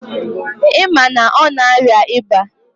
Ị ma na ọ na-arịa ịba?